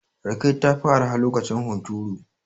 Rake ta fi arha lokacin hunturu.